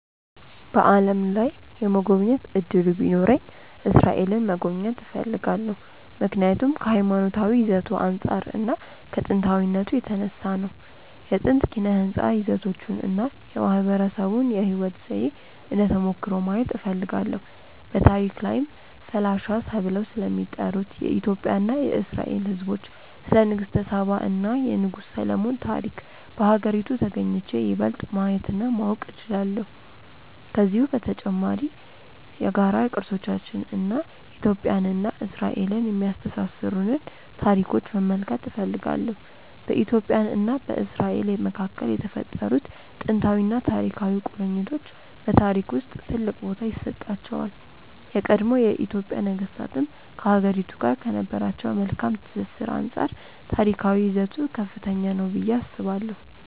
በዓለም ላይ የመጎብኘት እድሉ ቢኖረኝ እስራኤልን መጎብኘት እፈልጋለሁ። ምክንያቱም ከሀይማኖታዊ ይዘቱ አንፃር እና ከጥንታዊነቱ የተነሳ ነው። የጥንት ኪነ ህንፃ ይዘቶቹን እና የማህበረሰቡን የህይወት ዘዬ እንደ ተሞክሮ ማየት እፈልጋለሁ። በታሪክ ላይም ፈላሻ ተብለው ስለሚጠሩት የኢትዮጵያ እና የእስራኤል ህዝቦች፣ ስለ ንግስተ ሳባ እና የንጉስ ሰሎሞን ታሪክ በሀገሪቱ ተግኝቼ ይበልጥ ማየት እና ማወቅ እችላለሁ። ከዚሁም በተጨማሪ የጋራ ቅርሶቻችንን እና ኢትዮጵያን እና እስራኤልን የሚያስተሳስሩንን ታሪኮች መመልከት እፈልጋለሁ። በኢትዮጵያ እና በእስራኤል መካከል የተፈጠሩት ጥንታዊና ታሪካዊ ቁርኝቶች በታሪክ ውስጥ ትልቅ ቦታ ይሰጣቸዋል። የቀድሞ የኢትዮጵያ ነገስታትም ከሀገሪቱ ጋር ከነበራቸው መልካም ትስስር አንፃር ታሪካዊ ይዘቱ ከፍተኛ ነው ብዬ አስባለሁ።